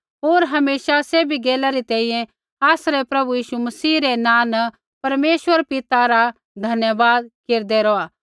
होर हमेशा सैभी गैला री तैंईंयैं आसरै प्रभु यीशु मसीह रै नाँ न परमेश्वर पिता रा धन्यवाद केरदै रौहा